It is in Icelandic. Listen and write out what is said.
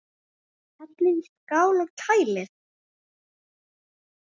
Hellið í skál og kælið.